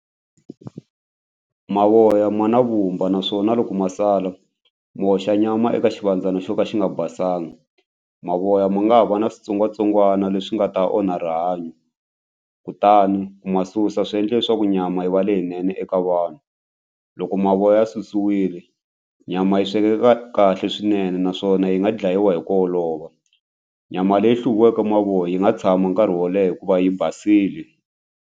Mavoya ma mavumba naswona loko ma sala mi hoxa nyama eka xivandzana xo ka xi nga basanga mavoya ma nga ha va na switsongwatsongwana leswi nga ta onha rihanyo kutani ku ma susa swi endle leswaku nyama yi va leyinene eka vanhu. Loko mavoya ya susile nyama yi swekeka kahle swinene naswona yi nga dlayiwa hi ku olova nyama leyi hluviweke mavoya yi nga tshama nkarhi wo leha hikuva yi basile.